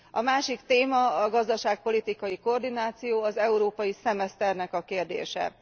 A másik téma a gazdaságpolitikai koordináció, az európai szemeszternek a kérdése.